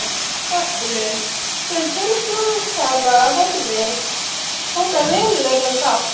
Öllu, sem til framfara horfði, tók hann verulegan þátt í.